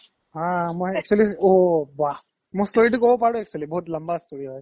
অ মই actually অ' বাহ্ মই story টো ক'ব পাৰো actually বহুত লম্বা story হয়